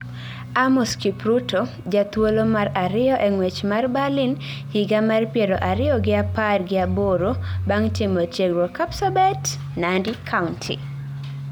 Amos Kipruto, jathuolo mar ariyo eng'wech mar Berlin higa mar piero ariyo gi apar gi aboro, bang' timo tiegruok Kapsabet, Nandi kaunti.